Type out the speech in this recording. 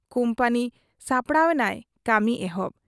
ᱠᱩᱢᱯᱟᱹᱱᱤ ᱥᱟᱯᱲᱟᱣ ᱮᱱᱟᱭ ᱠᱟᱹᱢᱤ ᱮᱦᱚᱵ ᱾